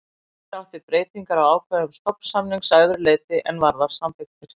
Hér er átt við breytingar á ákvæðum stofnsamnings að öðru leyti en varðar samþykktir.